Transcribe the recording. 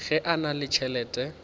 ge a na le tšhelete